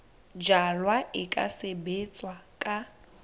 jalwa e ka sebetswa ka